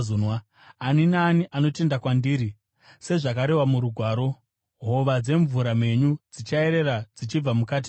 Ani naani anotenda kwandiri, sezvazvakarehwa muRugwaro, hova dzemvura mhenyu dzichayerera dzichibva mukati make.”